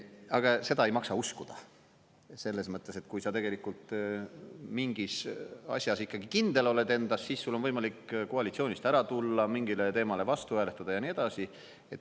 Aga seda ei maksa uskuda, selles mõttes, et kui sa tegelikult mingis asjas kindel ikkagi oled endas, siis sul on võimalik koalitsioonist ära tulla, mingile teemale vastu hääletada ja nii edasi.